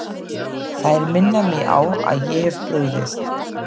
Þær minna mig á að ég hef brugðist.